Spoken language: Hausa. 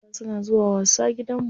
Yara suna zuwa wasa gidanmu.